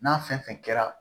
N'a fɛn fɛn kɛra